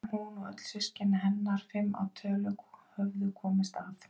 En hún og öll systkini hennar, fimm að tölu, höfðu komist af.